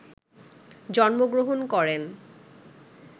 জন্মগ্র্রহণ করেন